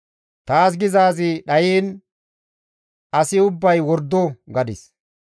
Taas gizaazi dhayiin, «Asi ubbay wordo» gadis.